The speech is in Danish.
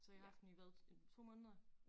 Så I har haft den i hvad øh 2 måneder